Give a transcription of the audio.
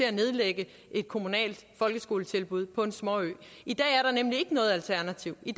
at nedlægge et kommunalt folkeskoletilbud på en småø i dag er der nemlig ikke noget alternativ i